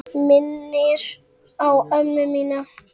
Minnir á ömmu mína.